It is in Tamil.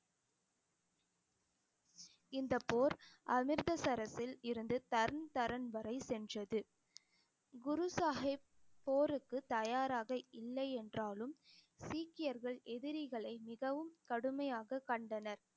இந்த போர் அமிர்த்தசரஸில் இருந்து தன் தரன் வரை சென்றது. குரு சாஹிப் போருக்கு தயாராக இல்லை என்றாலும் சீக்கியர்கள் எதிரிகளை மிகவும் கடுமையாக கண்டனர்